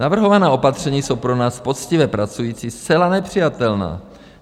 Navrhovaná opatření jsou pro nás, poctivě pracující, zcela nepřijatelná.